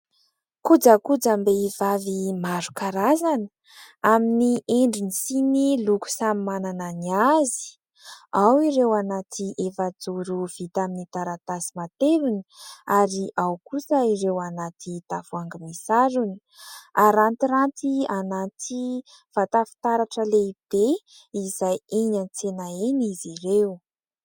Kojakojam-behivavy maro karazana amin'ny endriny sy ny loko samy manana ny azy, ao ireo anaty efajoro vita amin'ny taratasy matevina ary ao kosa ireo anaty tavoahangy misarona, harantiranty anaty vata fitaratra lehibe izay eny an-tsena eny izy ireo.